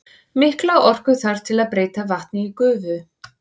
Mikla orku þarf til að breyta vatni í gufu.